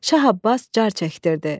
Şah Abbas car çəkdirdi.